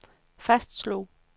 fastslog